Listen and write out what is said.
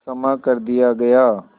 क्षमा कर दिया गया